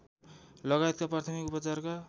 लगायतका प्राथमिक उपचारका